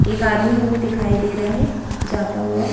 एक आदमी हमें दिखाई दे रहा है जाता हुआ--